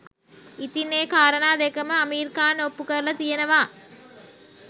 ඉතිං ඒ කාරණා දෙකම අමීර් ඛාන් ඔප්පු කරල තියෙනවා